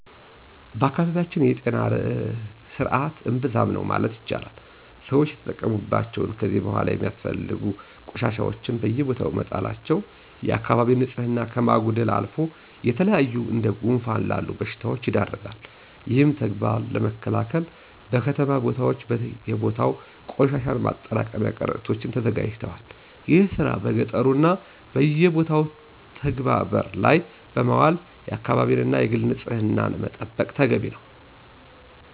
በአካባቢያችን የጤና ስርዐት እምብዛም ነው ማለት ይቻላል። ሰወች የተጠቀሙባቸውን ከዚ በኋላ የማያስፈልጉ ቆሻሻወችን በየቦታው መጣላቸው የአከባቢ ንፅህናን ከማጉደልም አልፎ ለተለያዩ እንደ ጉንፋን ላሉ በሽታወች ይዳርጋል። ይህን ተግባር ለመከላከል በከተማ ቦታወች በየቦታው ቆሻሻን ማጠራቀሚያ ቀረጢቶች ተዘጋጅተዋል። ይህን ስራ በገጠሩ እና በየቦታው ተግበባር ላይ በማዋል የአከባቢን እና የግልን ንፅህና መጠበቅ ተገቢ ነው።